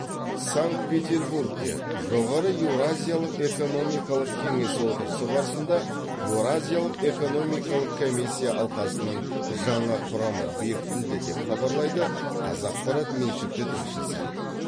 санкт петербургте жоғары еуразиялық экономикалық кеңес отырысы барысында еуразиялық экономикалық комиссия алқасының жаңа құрамы бекітілді деп хабарлайды қазақпарат меншікті тілшісі